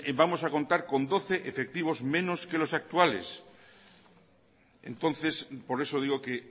vamos a contar con doce efectivos menos que los actuales entonces por eso digo que